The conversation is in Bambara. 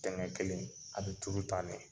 Ntɛnɛn kelen a bɛ tulu tan ne.